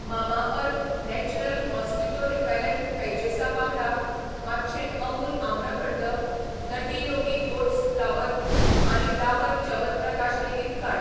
Mamaearth natural mosquito repellent पॅचेसा वांगडा, मातशें अमूल आम्रखंड, नटी योगी ओट्स फ्लावर आनी डाबर च्यवनप्रकाश लेगीत काड.